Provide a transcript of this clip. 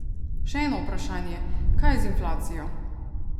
Še eno vprašanje, kaj z inflacijo?